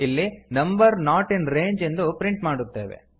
ಇಲ್ಲಿ number not in range ಎಂದು print ಮಾಡುತ್ತೇವೆ